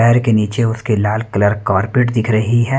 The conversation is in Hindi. पैर के नीचे उसके लाल कलर कारपेट दिख रही है।